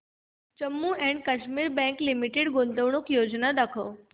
Jammu and Kashmir bank limited गुंतवणूक योजना दाखव